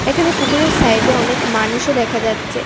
এখানে পুকুরের সাইডে অনেক মানুষও দেখা যাচ্চে।